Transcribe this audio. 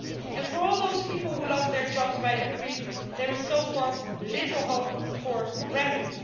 And, for all those people who lost their jobs by decree, there is so far little hope of remedy.